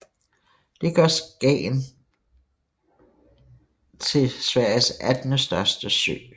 Det gør Skagern til Sveriges attende største sø